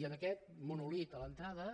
i en aquest monòlit a l’entrada